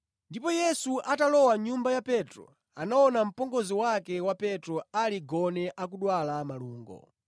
Ndipo Yesu atalowa mʼnyumba ya Petro, anaona mpongozi wake wa Petro ali gone akudwala malungo.